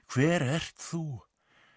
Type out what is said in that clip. hver ert þú